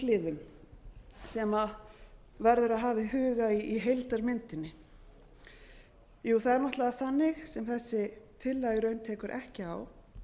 hliðum sem verður að hafa í huga í heildarmyndinni það er náttúrlega þannig sem þessi tillaga í raun tekur ekki á